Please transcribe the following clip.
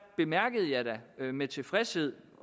bemærkede jeg da med tilfredshed